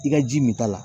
I ka ji min t'a la